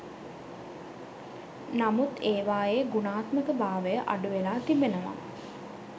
නමුත් ඒවායේ ගුණාත්මකභාවය අඩුවෙලා තිබෙනවා.